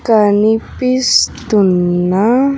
కనిపిస్తున్న.